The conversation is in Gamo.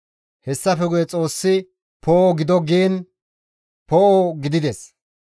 Hessafe guye Xoossi, «Poo7o gido» giin poo7o gidides.